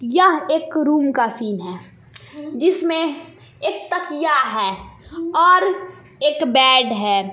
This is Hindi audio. यह एक रूम का सीन है जिसमें एक तकिया है और एक बेड है।